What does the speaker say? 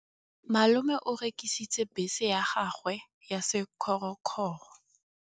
Malome o rekisitse bese ya gagwe ya sekgorokgoro.